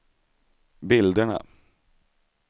bilderna